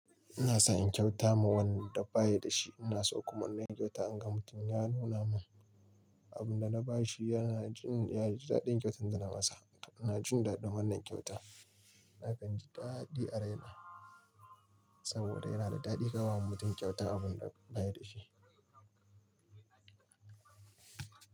Ina son in kyauta ma wanda ba shi da shi. Ina so kuma na yi kyauta. In ga mutum ya nuna min abin da na ba shi, yana jin ya ji daɗin kyautar da na masa. Ina jin daɗin wannan kyauta. Nakan ji daɗi a raina saboda yana da daɗi ka ba wa mutum kyauta abin da ba shi da shi.